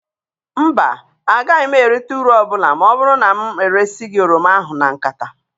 Mba, agaghị m erita uru ọbụla ma ọ bụrụ na m eresi gị oroma ahụ na nkata.